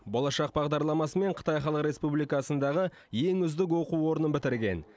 болашақ бағдарламасымен қытай халық республикасындағы ең үздік оқу орнын бітірген